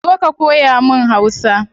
Zo ka koya mun hausa